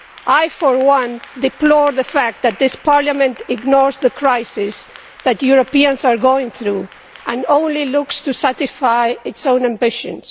I, for one, deplore the fact that this Parliament ignores the crisis that Europeans are going through and only looks to satisfy its own ambitions.